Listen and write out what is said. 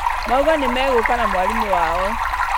Mauga nĩmegũka na mwarimũ wao